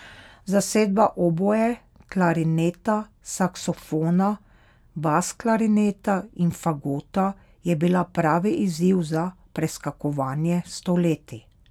Zasedba oboe, klarineta, saksofona, basklarineta in fagota je bila pravi izziv za preskakovanje stoletij.